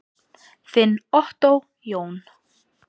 Þinn Ottó Jón.